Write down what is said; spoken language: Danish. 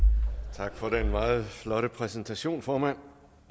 tak for den meget flotte præsentation formand